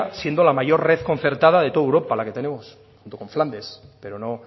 siendo la mayor red concertada de toda europa la que tenemos junto con flandes pero no